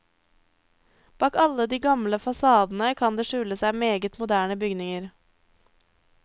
Bak alle de gamle fasadene kan det skjule seg meget moderne bygninger.